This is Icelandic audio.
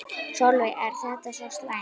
Sólveig: Er þetta svo slæmt?